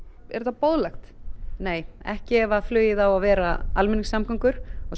er þetta boðlegt nei ekki ef að flugið á að vera almenningssamgöngur og